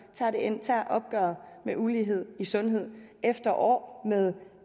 tager opgøret med ulighed i sundhed efter år med